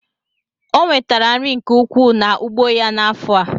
Onwetere nri nke ukwu na ugbo ya na afọa.